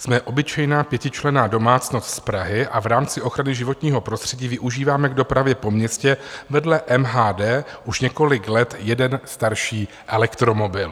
Jsme obyčejná pětičlenná domácnost z Prahy a v rámci ochrany životního prostředí využíváme k dopravě po městě vedle MHD už několik let jeden starší elektromobil.